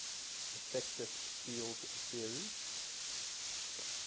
effective field theory